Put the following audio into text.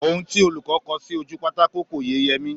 Ohun tí olùkọ́ kọ sí ojú pátákò kò yé Yẹmí